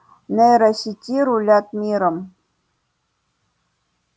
нейросети рулят миром